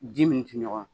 Ji min tɛ ɲɔgɔn ye